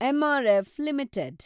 MRF limited